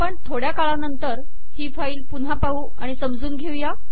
आपण थोड्या काळा नंतर ही फाईल पुन्हा पाहू आणि समजून घेऊया